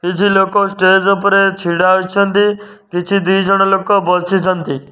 କିଛି ଲୋକ ଷ୍ଟେଜ୍ ଉପରେ ଛିଡା ହୋଇଛନ୍ତି କିଛି ଦି ଜଣ ଲୋକ ବସିଛନ୍ତି।